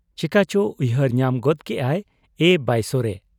ᱪᱮᱠᱟ ᱪᱚ ᱩᱭᱦᱟᱹᱨ ᱧᱟᱢ ᱜᱚᱫ ᱠᱮᱜ ᱟᱭᱼᱼ 'ᱮ ᱵᱟᱭᱥᱚᱨᱮ !